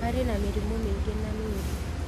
Marĩ na mĩrimũ mĩingĩ na mĩũrũ